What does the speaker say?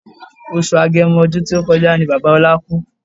Oṣù agẹmo ọdún tí ó kọjá ni Bàbá ọlá kú